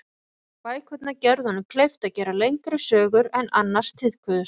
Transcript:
Bækurnar gerðu honum kleift að gera lengri sögur en annars tíðkuðust.